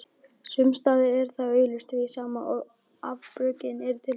Sumsstaðar er það augljóst því sama afbökunin er til staðar.